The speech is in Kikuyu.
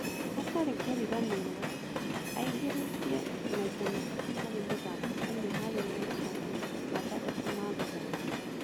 Hatarĩ kũriganĩrwo aingĩrĩtie maita matatũ harĩ mũthako ũmwe harĩ maita matandatũ ma gũthaka